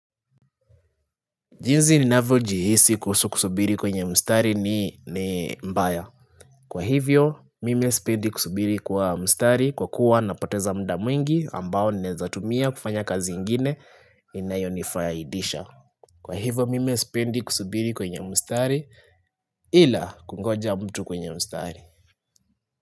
Jinsi ninavyo jihisi kuhusu kusubiri kwenye mstari ni mbaya Kwa hivyo mimi sipendi kusubiri kwa mstari kwa kuwa napoteza muda mwingi ambao naweza tumia kufanya kazi ingine inayonifaidisha Kwa hivyo mim sipendi kusubiri kwenye mstari ila kungoja mtu kwenye mstari.